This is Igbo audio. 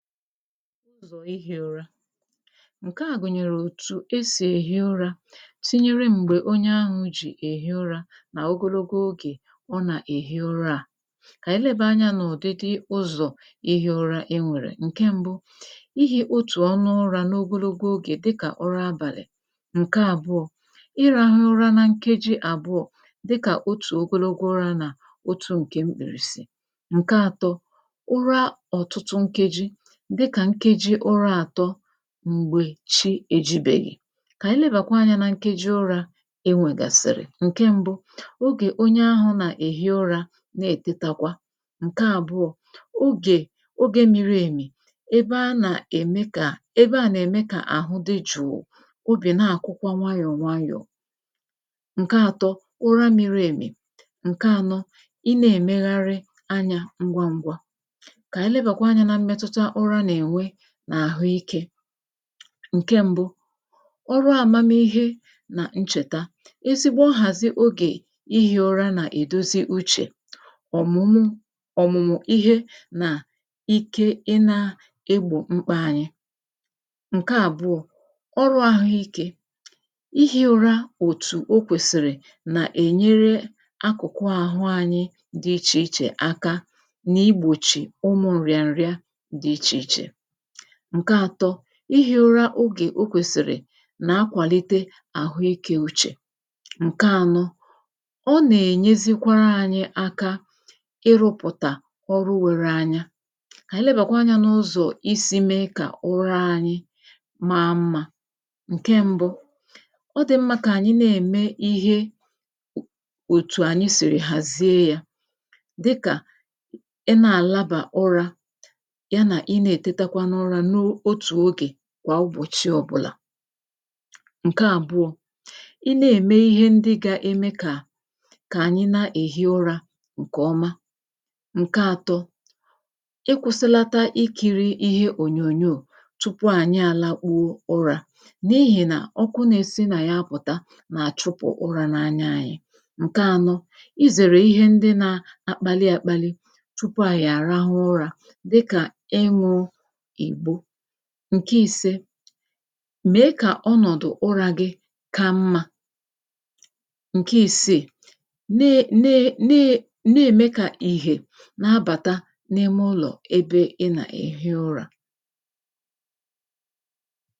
jùrù ihi ụra ǹke a gùnyèrè òtù esì ehi ụra tinyere m̀gbè onye ahụ̀ ji èhi ụrā nà ogologo ogè ọ nà-èhi ụra a kà ànyị leba any anà ụ̀dịdị ụzọ̀ ihi ụra e nwèrè ǹke mbu ihi otù ọnụ ụra n’ogologo ogè dịkà ụra abàlị̀ ǹke àbụọ ịrāhụ ụra na nkeji àbụọ dịkà otù ogologo ụrā nà otū ǹke mkpìrìsì ǹkè àtọ ụra ọ̀tụtụ nkeji dịkà nkeji ụra àtọ m̀gbè chi ejibèghì kà anyị lebàkwa anyā na nkeji ụrā e nwègàsị̀rị̀ ogè onye ahụ̀ nà-ehi ụra na ètetakwa ǹkè àbụọ ogè ogè miri èmì ebe a nà-ème ka ebe a nà-ème kà àhụ di juu ogè na-àkụkwa wayọ wayọ ǹke àtọ ụra miri èmì ǹkè ànọ ị na-èmegharị anyā ngwaǹgwa kà anyị lebàkwa anyā na mmetuta ụra nà-ènwe n’àhụike ǹke mbu ọrụ āmamihe nà nchèta ezigbo nhàzị ogè ihi ụra nà-èdozi uchè òmumu òmùmù ihe na ike i na egbò mkpa ànyị ǹkè àbụọ ọrụ àhụike ihi ụra òtù o kwèsìrì nà-ènyere akụkụ àhụ anyị di ichè ichè aka n’igbòchi ọnụ̄ nrịanrịa di ichè ichè ǹke àtọ ihi ụra m̀gbè o kwèsìrì nà akwàlite àhụike uchè ǹke ànọ ọ nà-ènyezikwara anyị aka irupụ̀tà ọrụwe n’anya kà ànyị lebàkwa ụzọ isi mee kà ụra anyị maa mma ǹke mbu ọ di mmā kà anyị na-ème ihe òtù ànya sìrì ghàzịe ya dịkà ị na-àlabà ụrā ya nà ị na-ètetakwa n’ụrā n’otù ogè kwà ụbọchị ọ̀bụlà ǹke àbụọ ị na-ème ihe ndị ga-ème kà kà anyị na-èhi ụrā ǹkè ọma ǹke àtọ ịkwụ̄sịlata ikīri ihe ònyònyò tupu ànya àlakpuo ụrā n’ihi nà ọkụ na-esi nà ya apụ̀ta nà-àchụpụ̀ ụrā n’anya anyị ǹke ànọ izère ihe ndị na akpalị àkpalị tupu ànyị àrahụ ụra dịkà ịṅụ̄ ìgbo ǹke ìse mee kà ọnọ̀dụ ụrā gi ka mmā ǹke isè na na na na-ème kà ìhè na-abàta n’ime ụlọ̀ ebe ị nà-èhi ụra